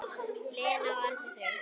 Lena og Árni Freyr.